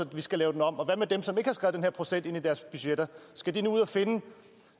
de skal lave dem om og hvad med dem som ikke har skrevet den her procent ind i deres budgetter skal de nu ud og finde